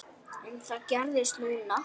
En það gerðist núna.